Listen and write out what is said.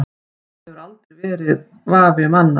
Það hefur aldrei verið vafi um annað.